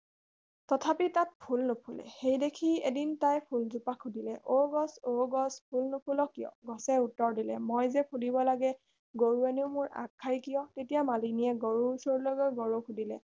তথাপি তাত ফুল নুফুলে সেইদেখি এদিন তাই ফুলগছজোপাক সুধিলে অ গছ অ গছ ফুল নুফুল কিয় গছে উত্তৰ দিলে মই যে ফুলিব লাগে গৰুৱেনো মোৰ আগ খায় কিয় তেতিয়া মালিনীয়ে গৰুৰ ওচৰলৈ গৈ গৰুক সুধিলে